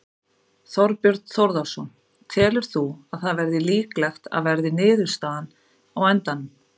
Þorbjörn Þórðarson: Telur þú að það verði líklegt að verði niðurstaðan á endanum?